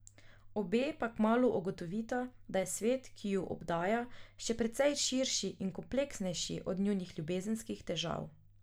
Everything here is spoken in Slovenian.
Obe pa kmalu ugotovita, da je svet, ki ju obdaja, še precej širši in kompleksnejši od njunih ljubezenskih težav.